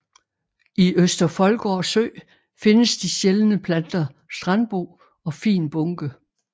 I Øster Foldgård Sø findes de sjældne planter strandbo og fin bunke